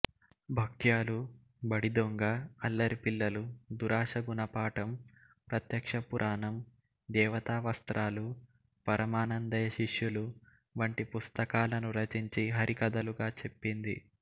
భక్యాలు బడిదొంగ అల్లరిపిల్లలు దురాష గుణపాటం ప్రత్యక్షపురాణం దేవతావస్త్రాలు పరమానందయ్య శిష్యులు వంటి పుస్తకాలను రచించి హరికథలుగా చెప్పింది